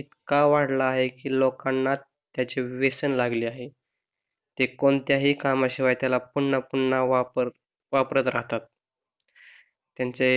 इतका वाढला आहे की लोकांना त्याचे व्यसन लागले आहे ते कोणत्याही कामाशिवाय त्याला पुन्हा पुन्हा वापर वापरत राहतात त्यांचे